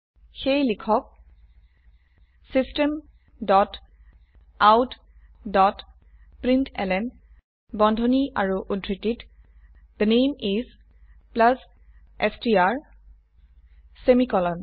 সেয়ে লিখক system dot out dot println বন্ধনী আৰু উদ্ধৃতিত থে নামে ইচ ষ্ট্ৰ সেমিকোলন